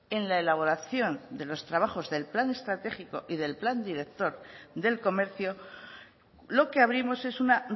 en la elaboración de los trabajos del plan estratégico y del plan director del comercio lo que abrimos es una